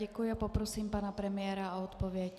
Děkuji a poprosím pana premiéra o odpověď.